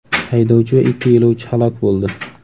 Haydovchi va ikki yo‘lovchi halok bo‘ldi.